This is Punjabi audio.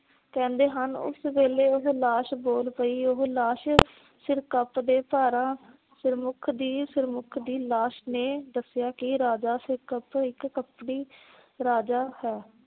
ਕਹਿੰਦੇ ਹਨ ਉਸ ਵੇਲੇ ਉਹੋ ਲਾਸ਼ ਬੋਲ ਪਈ। ਉਸ ਲਾਸ਼ ਸਿਰਕਪ ਦੇ ਭਾਰਾ ਸਿਰਮੁਖ ਦੀ ਸਿਰਮੁਖ ਦੀ ਲਾਸ਼ ਨੇ ਦੱਸਿਆ ਕਿ ਰਾਜਾ ਸਿਰਕਪ ਇਕ ਕੱਪੜੀ ਰਾਜਾ ਹੈ ।